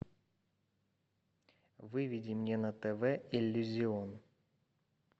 выведи мне на тв иллюзион